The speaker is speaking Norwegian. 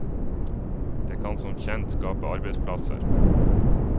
Det kan som kjent skape arbeidsplasser.